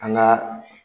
An ka